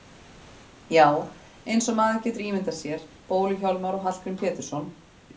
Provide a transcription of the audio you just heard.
Já, eins og maður getur ímyndað sér Bólu-Hjálmar og Hallgrím Pétursson.